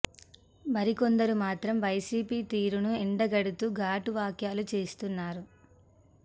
మరి కొందరు మాత్రం వైసీపీ తీరు ను ఎండగడుతూ ఘాటు వ్యాఖ్యలు చేస్తున్నారు